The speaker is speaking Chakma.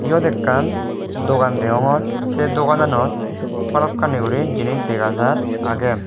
yot ekkan dogan deongor se dogananot balokkani guri jinis dega jar agey.